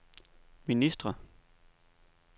ministre